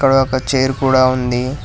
అక్కడ ఒక చైర్ కూడా ఉంది.